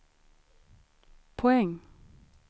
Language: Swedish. poäng